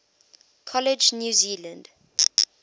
college new zealand